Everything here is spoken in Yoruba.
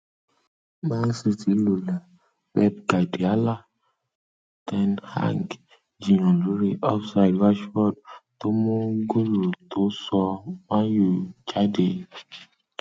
man city lulẹ pepgardílá ten hag jiyàn lórí ofside rashford tó mú góòlù tó sọ man utd jí jáde